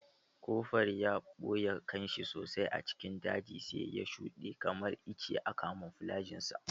Koforal ya ɓuye kanshi sosai a cikin daji sai ya shuɗe kamar icce a kamuflajin sa.